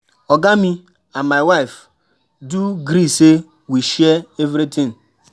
I um dey um like um to dey cook my husband favourite food everyday.